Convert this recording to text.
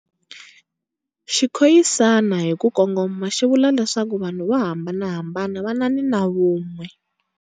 Xikhoyisani, hi ku kongoma xi vula leswaku vanhu vo hambanahambana vanani na vun'we.